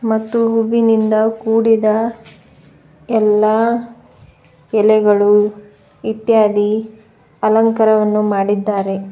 ಮತ್ತು ಹೂವಿನಿಂದ ಕೂಡಿದ ಎಲ್ಲಾ ಎಲೆಗಳು ಇತ್ಯಾದಿ ಅಲಂಕಾರವನ್ನು ಮಾಡಿದ್ದಾರೆ.